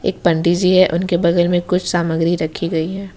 एक पंडित जी है उनके बगल में कुछ सामग्री रखी गई है।